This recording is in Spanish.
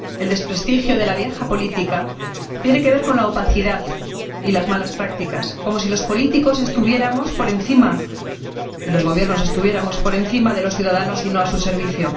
El desprestigio de la vieja política tiene que ver con la opacidad y las malas prácticas, como si los políticos y los gobiernos estuviéramos por encima de los ciudadanos, y no a su servicio.